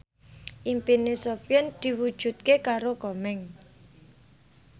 impine Sofyan diwujudke karo Komeng